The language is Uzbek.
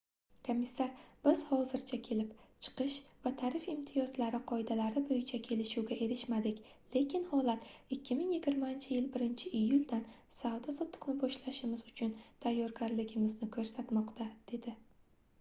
komissar biz hozircha kelib chiqish va tarif imtiyozlari qoidalari boʻyicha kelishuvga erishmadik lekin holat 2020-yil 1-iyuldan savdo-sotiqni boshlashimiz uchun tayyorligimizni koʻrsatmoqda - dedi